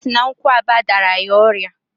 Osi na nkwuaba dara ya oria